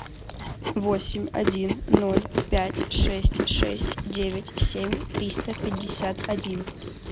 восемь один ноль пять шесть шесть девять семь триста пятьдесят один